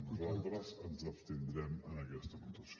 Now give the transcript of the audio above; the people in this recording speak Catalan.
nosaltres ens abstindrem en aquesta votació